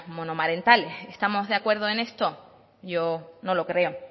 monomarentales estamos de acuerdo en esto yo no lo creo